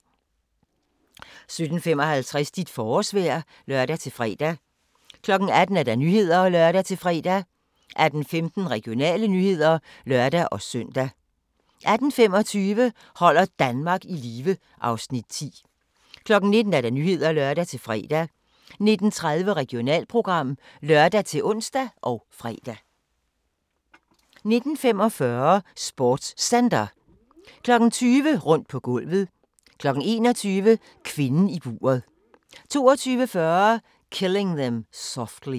17:55: Dit forårsvejr (lør-fre) 18:00: Nyhederne (lør-fre) 18:15: Regionale nyheder (lør-søn) 18:25: Holder Danmark i live (Afs. 10) 19:00: Nyhederne (lør-fre) 19:30: Regionalprogram (lør-ons og fre) 19:45: SportsCenter 20:00: Rundt på gulvet 21:00: Kvinden i buret 22:40: Killing Them Softly